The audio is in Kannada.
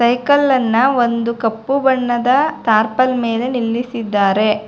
ಸೖಕಲ್ಲನ್ನ ಒಂದು ಕಪ್ಪು ಬಣ್ಣದ ತಾರ್ಪಲ್ ಮೇಲೆ ನಿಲ್ಲಿಸಿದ್ದಾರೆ.